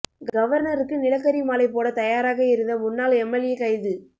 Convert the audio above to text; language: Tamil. கவர்னருக்கு நிலக்கரி மாலை போட தயாராக இருந்த முன்னாள் எம்எல்ஏ கைது